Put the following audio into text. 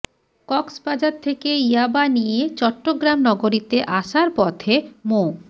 কক্সবাজার থেকে ইয়াবা নিয়ে চট্টগ্রাম নগরীতে আসার পথে মো